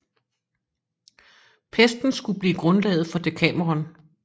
Pesten skulle blive grundlaget for Dekameronen